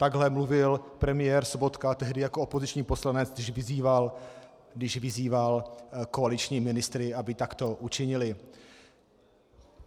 Takhle mluvil premiér Sobotka tehdy jako opoziční poslanec, když vyzýval koaliční ministry, aby takto učinili.